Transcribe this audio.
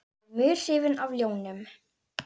Ég er mjög hrifinn af ljónum.